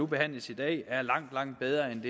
behandles i dag er langt langt bedre end